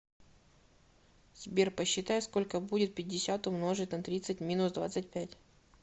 сбер посчитай сколько будет пятьдесят умножить на тридцать минус двадцать пять